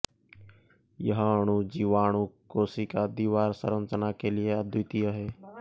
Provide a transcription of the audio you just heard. यह अणु जीवाणु कोशिका दीवार संरचना के लिए अद्वितीय है